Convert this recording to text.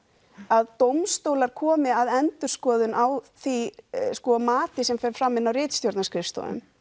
að dómstólar komi að endurskoðun á því mati sem fer fram inn á ritstjórnarskrifstofunni